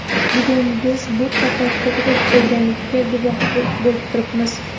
Bugun biz bu qaror to‘g‘ri bo‘lganiga guvoh bo‘lib turibmiz.